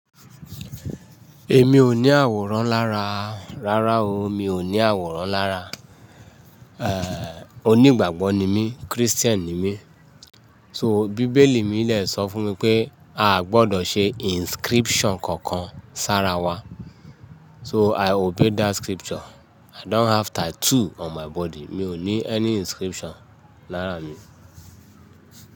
Èmi ò ní àwòrán lára, rárá o, mi ò ní àwòrán lára. Onígbàgbọ́ ni mí, Christian ni mí. So Bíbélì mi dẹ̀ sọ fún mi pé a gbọdọ̀ ṣe inscription kankan sára wa. So i obey that scripture. I don't have tattoo on my body. Mi ò ní any inscription lára mi.